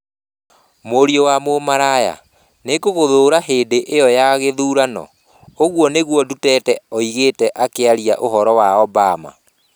Mũriũ wa mũmaraya, Nĩngũgũthũũra hĩndĩ ĩyo ya gĩthurano", ũguo nĩguo Duterte oigire akĩaria ũhoro wa Obama.